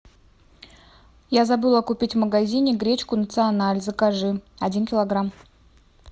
я забыла купить в магазине гречку националь закажи один килограмм